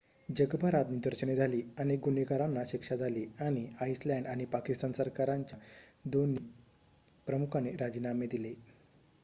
जगभरात निदर्शने झाली अनेक गुन्हेगारांना शिक्षा झाली आणि आईसलँड आणि पाकिस्तान सरकारांच्या दोन्ही प्रमुखांनी राजीनामे दिले